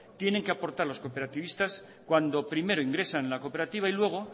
tienen que aportar los cooperativitas cuando primero ingresan en la cooperativa y luego